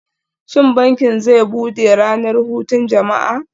Shin bankin zai bude ranar hutun jama'a?